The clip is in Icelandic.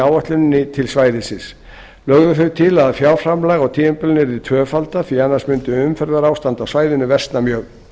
áætluninni til svæðisins lögðu þau til að fjárframlag á tímabilinu yrði tvöfaldað því annars mundi umferðarástand á svæðinu versna mjög